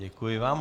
Děkuji vám.